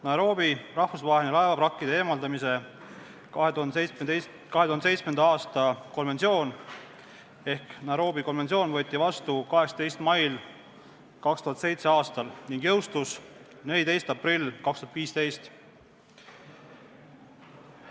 Nairobi rahvusvahelise laevavrakkide eemaldamise 2007. aasta konventsioon ehk Nairobi konventsioon võeti vastu 18. mail 2007. aastal ja jõustus 14. aprillil 2015.